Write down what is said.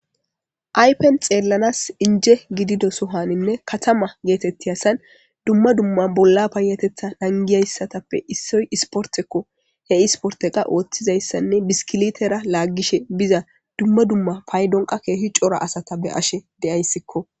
aypen xeellanas inje gidido sohaninne katama geetetti hasan dumma dumma bolla paayatetha nangiyayssatappe issoy isportekko he isporteqa ooththizayssanne biskilitera laaggishe biza dumma dumma paydonqa keehi cora asata be7ashe deyayssikko